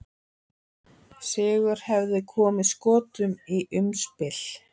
Sigur hefði komið Skotum í umspil.